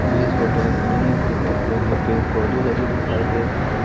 मुझे इस फोटो में सामने की तरह हरे हरे पेड़ पौधे लगे दिखाई दे सामने--